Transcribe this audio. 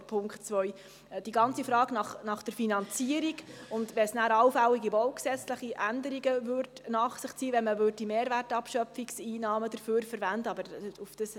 Für die ganze Frage der Finanzierung und für allfällige baugesetzliche Änderungen, die dies anschliessend nach sich zöge, wenn man Mehrwertabschöpfungseinnahmen dafür verwendete, wäre dann die JGK zuständig.